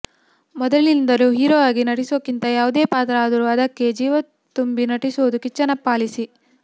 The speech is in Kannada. ಮೊದಲಿನಿಂದಲೂ ಹೀರೋ ಆಗಿ ನಟಿಸೋಕ್ಕಿಂತ ಯಾವುದೇ ಪಾತ್ರ ಆದ್ರು ಅದಕ್ಕೆ ಜೀವ ತುಂಬಿ ನಟಿಸೋದು ಕಿಚ್ಚನ ಪಾಲಿಸಿ